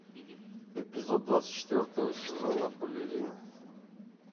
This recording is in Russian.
эпизод двадцать четвертого сезона балерина